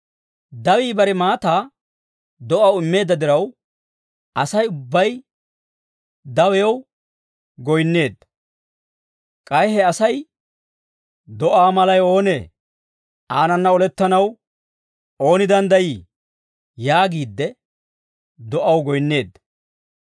Dawii bare maataa do'aw immeedda diraw, Asay ubbay dawiyaw goyinneedda. K'ay he asay, «Do'aa malay oonee? Aanana olettanaw ooni danddayii?» yaagiidde, do'aw goyinneedda.